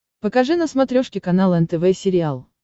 покажи на смотрешке канал нтв сериал